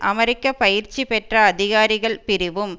அமெரிக்க பயிற்சி பெற்ற அதிகாரிகள் பிரிவும்